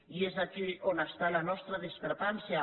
i és aquí on està la nostra discrepància